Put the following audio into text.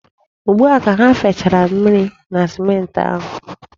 Ugbua ka ha fechara mmiri na simenti ahụ.